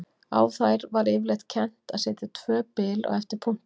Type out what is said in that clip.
Á þær var yfirleitt kennt að setja tvö bil á eftir punkti.